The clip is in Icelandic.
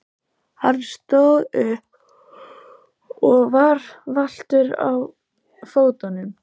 Hann stóð upp og var valtur á fótunum.